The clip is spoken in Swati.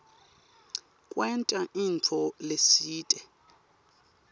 kwenta intfo letsite